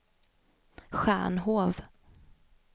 Stjärnhov